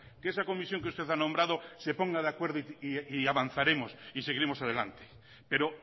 que esa comisión que usted ha nombrado se ponga de acuerdo y avanzaremos y seguiremos adelante pero